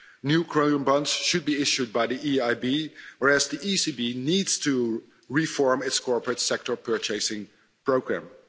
New Green Bonds should be issued by the EIB, whereas the ECB needs to reform its corporate sector purchasing programme.